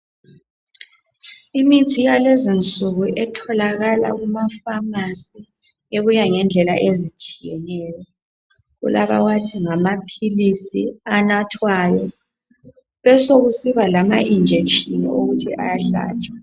Imithi yalezinsuku etholakala kumafamasi ebuya ngendlela ezitshiyeneyo. Kulawabathi ngamaphilisi anathwayo. Besekusiba lama injection okuthi ayahlatshwa.